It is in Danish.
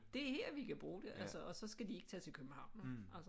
Det er her vi kan bruge det og så skal de ikke tage til København vel altså